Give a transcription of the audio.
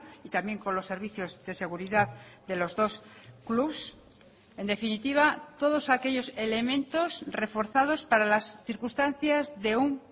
y también con los servicios de seguridad de los dos clubs en definitiva todos aquellos elementos reforzados para las circunstancias de un